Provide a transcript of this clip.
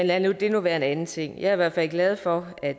lad det nu være en anden ting jeg er i hvert fald glad for at